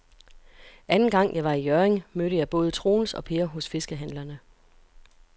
Anden gang jeg var i Hjørring, mødte jeg både Troels og Per hos fiskehandlerne.